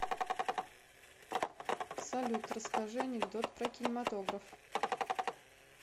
салют расскажи анекдот про кинематограф